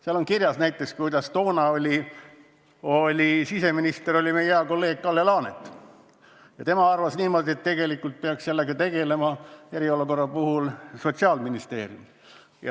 Seal on kirjas näiteks see, kuidas toona oli siseminister meie hea kolleeg Kalle Laanet, kes arvas niimoodi, et tegelikult peaks eriolukorraga tegelema Sotsiaalministeerium.